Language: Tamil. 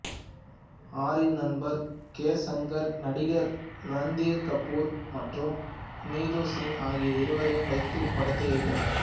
ஆரின் நண்பர் கே சங்கர் நடிகர் ரன்தீர் கபூர் மற்றும் நீது சிங் ஆகிய இருவரையும் வைத்து இப்படத்தை இயக்கினார்